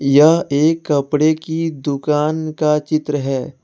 यह एक कपड़े की दुकान का चित्र है।